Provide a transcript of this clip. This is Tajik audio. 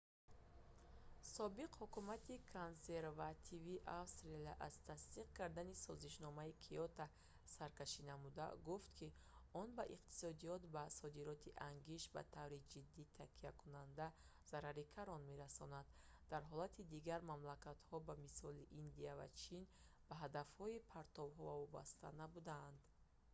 собиқ ҳукумати консервативии австралия аз тасдиқ кардани созишномаи киото саркашӣ намуда гуфт ки он ба иқтисодиёти ба содироти ангишт ба таври ҷиддӣ такякунанда зарари калон мерасонанд дар ҳолате ки дигар мамлакатҳо ба мисли индия ва чин бо ҳадафҳои партовҳо вобаста набуданд